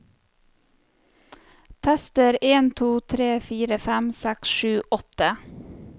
Tester en to tre fire fem seks sju åtte